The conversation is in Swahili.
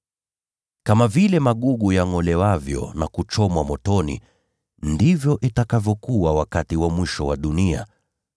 “Kama vile magugu yangʼolewavyo na kuchomwa motoni, ndivyo itakavyokuwa wakati wa mwisho wa dunia.